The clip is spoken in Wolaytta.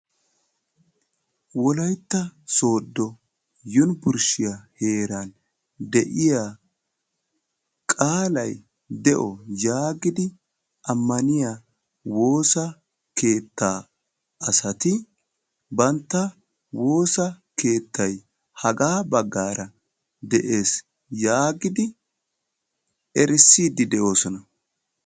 wolaytta sooddo yunbburshshiya heeran de'iyaa qaalay de'o yaagidi ammaniya woossa keetta asati bantta woosa keettay hagaa baggaara de'ees yaagidi erissidi de'oosona.